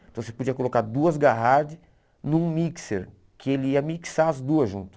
Então você podia colocar duas Garrard num mixer, que ele ia mixar as duas juntas.